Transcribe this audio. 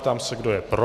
Ptám se, kdo je pro.